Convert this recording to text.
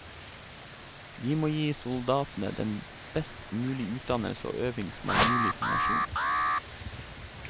Vi må gi soldatene den best mulige utdannelse og øving som er mulig for nasjonen.